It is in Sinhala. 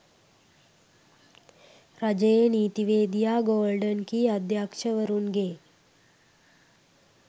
රජයේ නීතිවේදියා ගෝල්ඩන් කී අධ්‍යක්ෂවරුන්ගේ